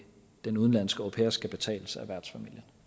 den udenlandske au pair skal betales af værtsfamilien